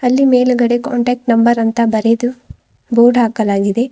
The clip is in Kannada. ಇಲ್ಲಿ ಮೇಲುಗಡೆ ಕಾಂಟಾಕ್ಟ್ ನಂಬರ್ ಅಂತ ಬರೆದು ಬೋರ್ಡ್ ಹಾಕಲಾಗಿದೆ.